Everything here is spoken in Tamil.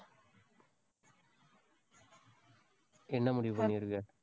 என்ன முடிவு பண்ணியிருக்க?